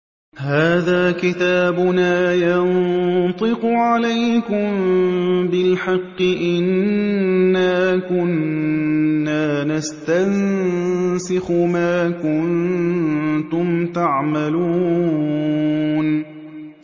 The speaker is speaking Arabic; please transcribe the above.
هَٰذَا كِتَابُنَا يَنطِقُ عَلَيْكُم بِالْحَقِّ ۚ إِنَّا كُنَّا نَسْتَنسِخُ مَا كُنتُمْ تَعْمَلُونَ